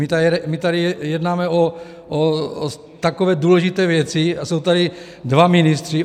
My tady jednáme o takové důležité věci, a jsou tady dva ministři.